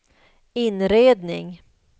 inredning